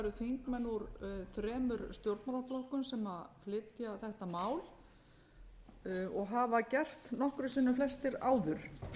þingmenn úr þremur stjórnmálaflokkum sem flytja þetta mál og hafa gert nokkrum sinnum flestir áður